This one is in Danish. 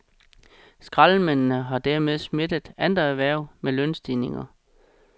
Skraldemændene har dermed smittet andre erhverv med lønstigninger.